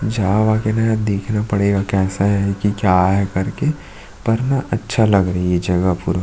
जा वा के ना देखना पड़ेगा कैसा है की क्या है करके पर न अच्छे लग रहे है ये जगह पूरा--